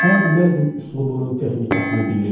Hər nəzm üslubunun texnikasını bilirdik.